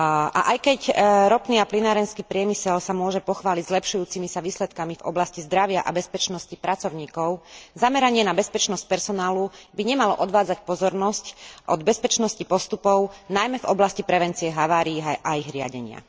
A aj keď ropný a plynárenský priemysel sa môže pochváliť zlepšujúcimi sa výsledkami v oblasti zdravia a bezpečnosti pracovníkov, zameranie na bezpečnosť personálu by nemalo odvádzať pozornosť od bezpečnosti postupov, najmä v oblasti prevencie havárií a ich riadenia.